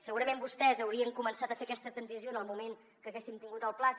segurament vostès haurien començat a fer aquesta transició en el moment que haguéssim tingut el plater